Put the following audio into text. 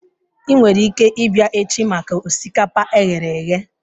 Ị nwere ike ịbịa echi maka osikapa e ghere eghe